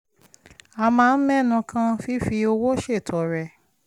a máa ń mẹ́nu kan fífi owó ṣètọrẹ